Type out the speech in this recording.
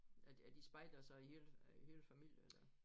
Er de er de spejdere så i hele øh hele familie eller?